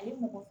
A ye mɔgɔ